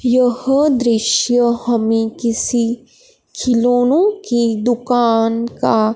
यह दृश्य हमें किसी खिलौनों की दुकान का--